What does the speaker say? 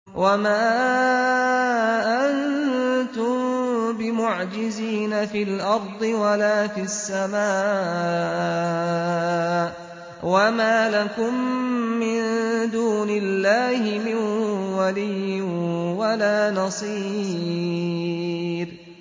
وَمَا أَنتُم بِمُعْجِزِينَ فِي الْأَرْضِ وَلَا فِي السَّمَاءِ ۖ وَمَا لَكُم مِّن دُونِ اللَّهِ مِن وَلِيٍّ وَلَا نَصِيرٍ